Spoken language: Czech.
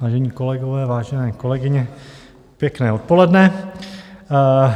Vážené kolegyně, vážení kolegové, pěkné odpoledne.